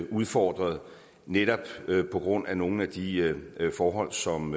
udfordret netop på grund af nogle af de forhold som